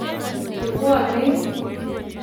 che bwanei